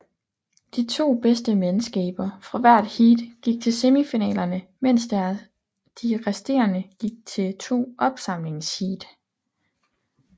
De to bedste mandskaber fra hvert heat gik til semifinalerne mens de resterende gik til to opsamlingsheat